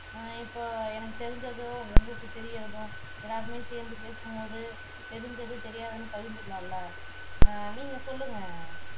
அஹ் இப்போ எனக்கு தெரிஞ்சதும் உங்களுக்கு தெரியிரதும் எல்லாருமே சேர்ந்து பேசும்போது தெரிஞ்சது தெரியாததுன்னு பகிர்ந்துக்கலாம்ல அஹ் நீங்க சொல்லுங்க